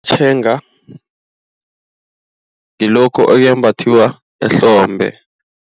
Tshega ngilokhu okwembathwa ehlombe.